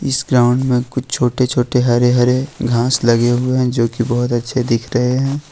इस ग्राउंड में कुछ छोटे छोटे हरे हरे घास लगे हुए हैं जो की बहुत अच्छे दिख रहे हैं।